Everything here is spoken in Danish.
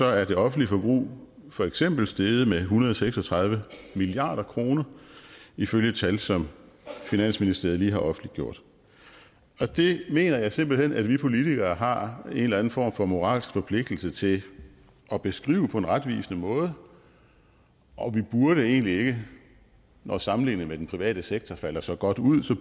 er det offentlige forbrug for eksempel steget med en hundrede og seks og tredive milliard kroner ifølge tal som finansministeriet lige har offentliggjort og det mener jeg simpelt hen at vi politikere har en eller anden form for moralsk forpligtelse til at beskrive på en retvisende måde og vi burde egentlig ikke når sammenligningen med den private sektor falder så godt ud